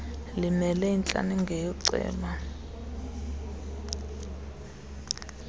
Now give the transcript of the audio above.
limele intlaninge yooceba